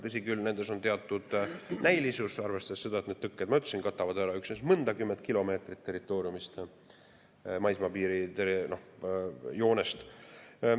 Tõsi küll, nendes on teatud näilisust, arvestades seda, et need tõkked, nagu ma ütlesin, katavad ära üksnes mõnikümmend kilomeetrit territooriumist, maismaa piirijoonest.